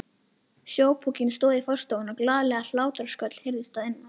Sjópokinn stóð í forstofunni og glaðleg hlátrasköll heyrðust að innan.